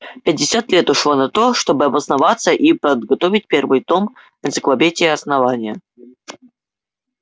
пятьдесят лет ушло на то чтобы обосноваться и подготовить первый том энциклопедии основания